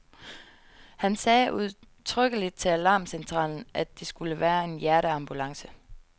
Han sagde udtrykkeligt til alarmcentralen, at det skulle være en hjerteambulance.